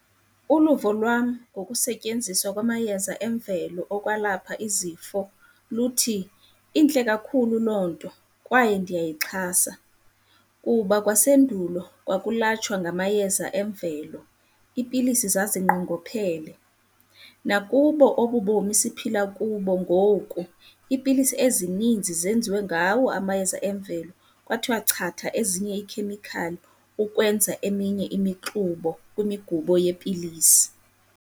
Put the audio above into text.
Uluvo lwam ngokusetyenziswa kwamayeza emvelo okwalapha izifo luthi, intle kakhulu loo nto kwaye ndiyayixhasa. Kuba kwasendulo kwakulatshwa ngamayeza emvelo, iipilisi zazinqongophele. Nakubo obu bomi siphila kubo ngoku iipilisi ezininzi zenziwe ngawo amayeza emvelo, kwathiwa chatha ezinye iikhemikhali ukwenza eminye imixubo kwimigubo yeepilisi.